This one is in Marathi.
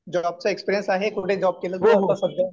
जॉबचा एक्सपीरियन्स आहे काही? कुठे जॉब केला सध्या?